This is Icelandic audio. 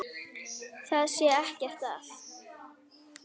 Það sé ekkert að.